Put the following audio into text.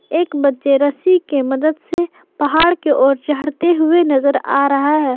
एक बच्चे रस्सी के मदद से पहाड़ के ओर चढ़ते हुए नजर आ रहा है।